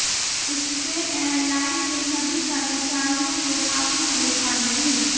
इससे एयरलाइन के सभी कर्मचारियों को काफ़ी परेशानी हुई